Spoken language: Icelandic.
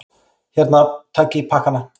Hérna, takiði pakkana!